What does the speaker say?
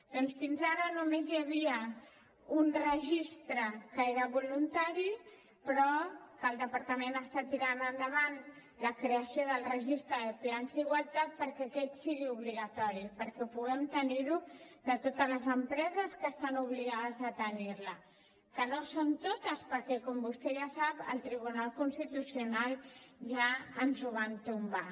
doncs fins ara només hi havia un registre que era voluntari però el departament està tirant endavant la creació del registre de plans d’igualtat perquè aquest sigui obligatori perquè ho puguem tenir de totes els empreses que estan obligades a tenir ho que no són totes perquè com vostè ja sap al tribunal constitucional ja ens ho van tombar